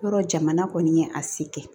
Yɔrɔ jamana kɔni ye a se kɛ